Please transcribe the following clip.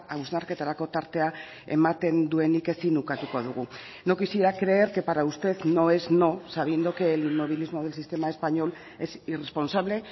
hausnarketarako tartea ematen duenik ezin ukatuko dugu no quisiera creer que para usted no es no sabiendo que el inmovilismo del sistema español es irresponsable